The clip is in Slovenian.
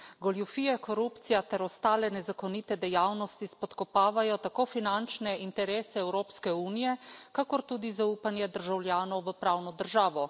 Goljufije, korupcija ter ostale nezakonite dejavnosti spodkopavajo tako finančne interese Evropske unije kakor tudi zaupanje državljanov v pravno državo.